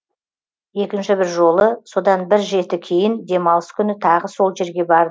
екінші бір жолы содан бір жеті кейін демалыс күні тағы сол жерге